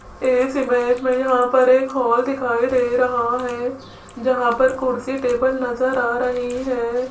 इस इमेज में यहां पर एक हाल दिखाई दे रहा है जहां पर कुर्सी टेबल नजर आ रही है।